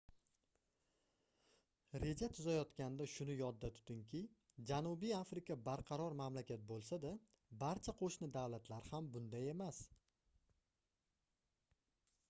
reja tuzayotganda shuni yodda tutingki janubiy afrika barqaror mamlakat boʻlsa-da barcha qoʻshni davlatlar ham bunday emas